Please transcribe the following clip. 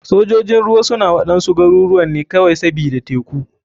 Sojojin ruwa suna waɗansu garuruwan ne kawai sbida teku.